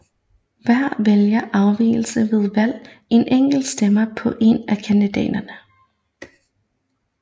Hver vælger afgiver ved valget en enkelt stemme på en af kandidaterne